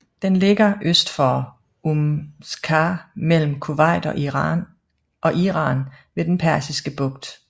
Den ligger øst for Umm Qasr mellem Kuwait og Iran ved den Persiske Bugt